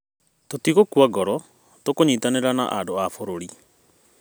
Tũtigũkua ngoro, tũkũnyitanĩra na andũ a bũrũri.